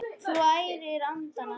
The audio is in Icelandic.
Þú ærir andana!